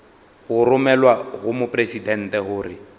go romelwa go mopresidente gore